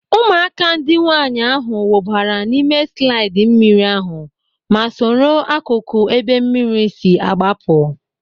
Ụmụaka ndị nwaanyị ahụ wụbara n'ime slaịdị mmiri ahụ ma soro akụkụ ebe mmiri si agbapụ.